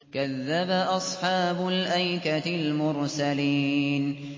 كَذَّبَ أَصْحَابُ الْأَيْكَةِ الْمُرْسَلِينَ